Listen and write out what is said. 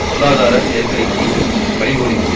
பொருளாதார நெருக்கடிக்கு வழிகோலியது